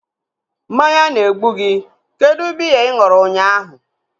Mmanya na-egbu gị. Kedụ biya ị ṅụrụ unyaahu?